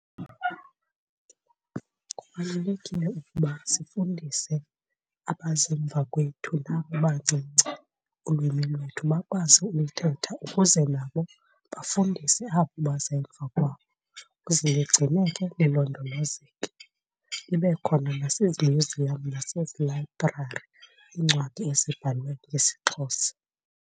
Kubalulekile ukuba sifundise abaza emva kwethu nabancinci ulwimi lwethu bakwazi ulithetha ukuze nabo bafundise abo baze emva kwabo ukuze lugcineke lulondolozeke, libe khona nasezimyuziyam nasezilayibrari iincwadi esibhalwe ngesiXhosa.